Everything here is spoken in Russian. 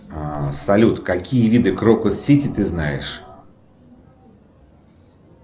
салют какие виды крокус сити ты знаешь